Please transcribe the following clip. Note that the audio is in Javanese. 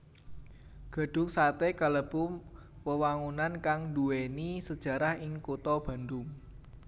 Gedhung satè kalebu wewangunan kang nduwèni sejarah ing kutha Bandung